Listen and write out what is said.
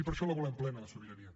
i per això la volem plena la sobirania